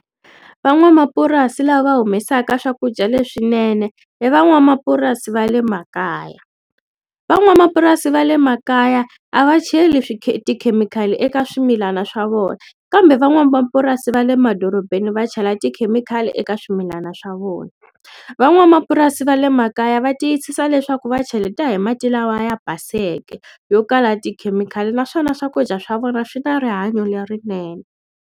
Van'wamapurasi lava humesaka swakudya leswinene hi van'wamapurasi va le makaya van'wamapurasi va le makaya a va cheli swi tikhemikhali eka swimilana swa vona kambe van'wamapurasi va le madorobeni va chela tikhemikhali eka swimilana swa vona van'wamapurasi va le makaya va tiyisisa leswaku va cheleta hi mati lawa ya baseke yo kala tikhemikhali naswona swakudya swa vona swi na rihanyo lerinene.